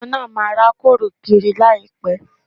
Ọmọ náà máa rákòrò kiri láìpẹ̀